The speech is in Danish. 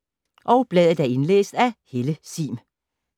Indlæst af: